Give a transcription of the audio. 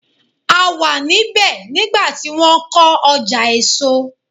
A wà ní bẹ̀ nígbà tí wọ́n kọ́ ọjà èso.